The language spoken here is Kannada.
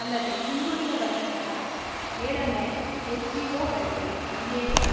ಅಲ್ಲದೆ ಹಿಂದುಳಿದ ವರ್ಗಗಳ ಏಳನೇ ಎಸ್ ಜಿಒಗಳಿಗೆ ಐಎಎಸ್‌